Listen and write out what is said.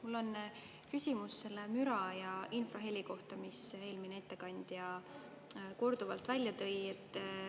Mul on küsimus selle müra ja infraheli kohta, mida eelmine ettekandja korduvalt välja tõi.